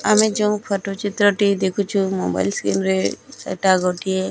ଆମେ ଯୋଉ ଫଟ ଚିତ୍ର ଦେଖୁଚୁ ମୋବାଇଲ ସ୍କ୍ରିନ ରେ ସେଟା ଗୋଟିଏ --